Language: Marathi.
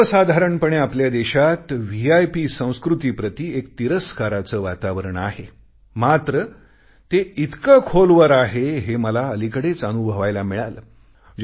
सर्वसाधारणपणे आपल्या देशात व्हीआयपी संस्कृतीप्रति एक तिरस्काराचे वातावरण आहे मात्र ते इतके खोलवर आहेहे मला अलिकडेच अनुभवायला मिळाले